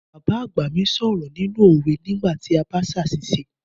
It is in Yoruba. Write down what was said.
Bàbá àgbà mi sọ̀rọ̀ nínú òwe nígbà tí a bá ṣàṣìṣe